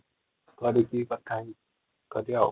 କରିକି କଥା ହେଇକି କରିବା|